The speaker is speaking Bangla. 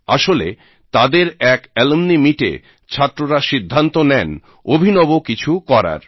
আসলে তাদের এক অ্যালমনি মিট এ ছাত্ররা সিদ্ধান্ত নেন অভিনব কিছু করার